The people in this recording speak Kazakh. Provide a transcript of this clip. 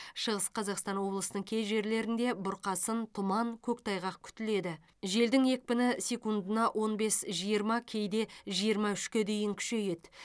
шығыс қазақстан облысының кей жерлерінде бұрқасын тұман көктайғақ күтіледі желдің екпіні секундына он бес жиырма кейде жиырма үшке дейін күшейеді